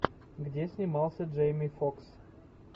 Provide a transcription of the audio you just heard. где снимался джейми фокс